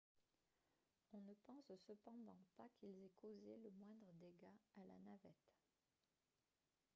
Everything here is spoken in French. on ne pense cependant pas qu'ils aient causé le moindre dégât à la navette